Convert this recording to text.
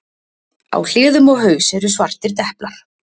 Á hliðum og haus eru svartir deplar.